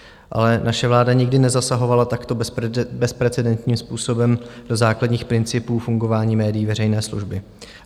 Ale naše vláda nikdy nezasahovala takto bezprecedentním způsobem do základních principů fungování médií veřejné služby.